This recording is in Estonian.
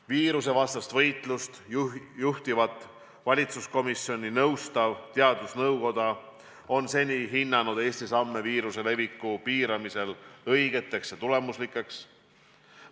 Viirusevastast võitlust juhtivat valitsuskomisjoni nõustav teadusnõukoda on seni hinnanud Eesti samme viiruse leviku piiramisel õigeteks ja tulemuslikeks.